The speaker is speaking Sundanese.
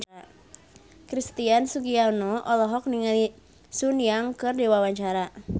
Christian Sugiono olohok ningali Sun Yang keur diwawancara